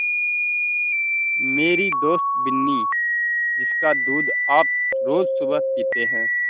मेरी दोस्त बिन्नी जिसका दूध आप रोज़ सुबह पीते हैं